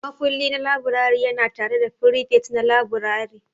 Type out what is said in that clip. Makulli na laburare yana tare da firifet na laburare.